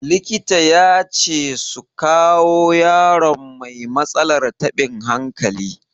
Likita ya ce su kawo yaron mai matsalar taɓin hankali.